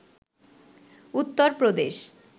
Uttar Pradesh